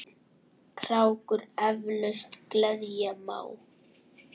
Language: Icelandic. krákur eflaust gleðja má.